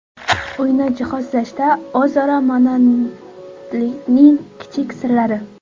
Uyni jihozlashda o‘zaro monandlikning kichik sirlari.